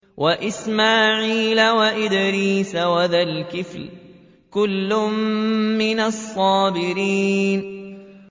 وَإِسْمَاعِيلَ وَإِدْرِيسَ وَذَا الْكِفْلِ ۖ كُلٌّ مِّنَ الصَّابِرِينَ